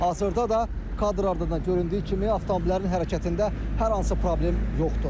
Hazırda da kadrlarda da göründüyü kimi, avtomobillərin hərəkətində hər hansı problem yoxdur.